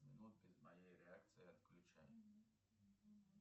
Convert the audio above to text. без моей реакции отключай